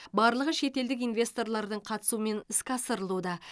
барлығы шетелдік инвесторлардың қатысуымен іске асырылуда